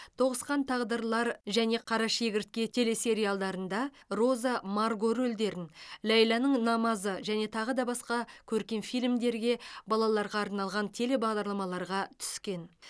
тоғысқан тағдырлар және қарашегіртке телесериалдарына роза марго рөлдерін ләйләнің намазы және тағы басқа көркем фильмдерге балаларға арналған телебағдарламаларға түскен